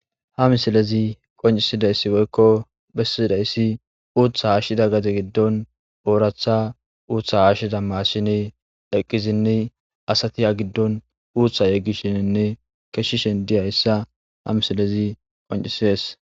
ha misilezi qoncisidayssi woykko bessidayssi uutha haashshida gate giddon ooratha uutha haashshida maassine eqqizinni asati ha giddon uutha yeggishininne keshshishen diyayssa ha misilezi qoncisies